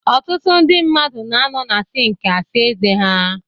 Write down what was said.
Ọtụtụ ndị mmadụ na-anọ na sink asa ezé ha.